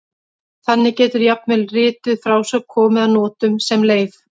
Þannig getur jafnvel rituð frásögn komið að notum sem leif.